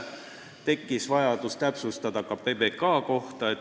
Tekkis vajadus täpsustada ka PBK kohta.